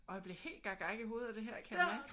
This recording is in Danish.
Åh jeg bliver helt gak gak i hovedet af det her kan jeg mærke